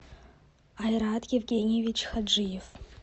айрат евгеньевич хаджиев